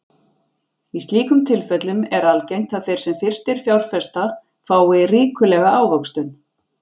Í slíkum tilfellum er algengt að þeir sem fyrstir fjárfesta fái ríkulega ávöxtun.